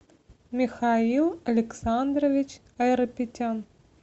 михаил александрович айрапетян